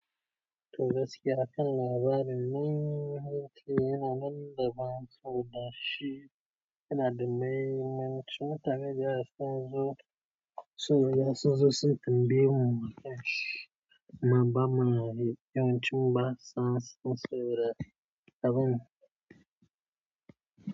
Tabbas gaskiya a kan labarin nan, har taya nan da ban tsoro da shi yana da mai, mun cimma tare da hasken zo, tsoro yanzu sun tambayi muke sh ma ba mahia, yawancin ba sa son tsoro, abin.